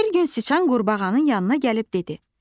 Bir gün siçan qurbağanın yanına gəlib dedi: